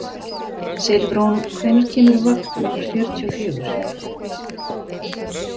Silfrún, hvenær kemur vagn númer fjörutíu og fjögur?